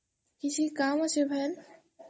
କିଛି କାମ୍ ଅଛେ ଫେନ୍?